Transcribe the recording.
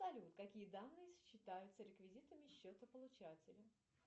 салют какие данные считаются реквизитами счета получателя